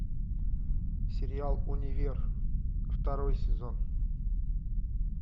сериал универ второй сезон